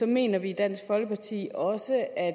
mener vi i dansk folkeparti også at